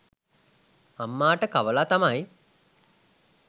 අම්මාට කවලා තමයි